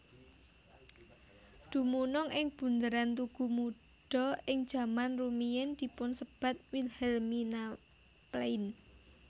Dumunung ing bunderan Tugu Muda ing jaman rumiyin dipunsebat Wilhelminaplein